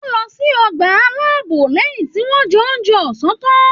Wọn lọ sí ọgbà alápò lẹyìn tí wọn jẹ oúnjẹ ọsán tan.